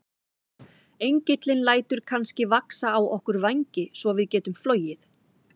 Engillinn lætur kannski vaxa á okkur vængi svo við getum flogið?